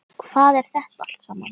Hvað er þetta allt saman?